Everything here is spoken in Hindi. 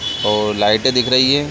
और लाइटे दिख रही है।